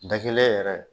Da kelen yɛrɛ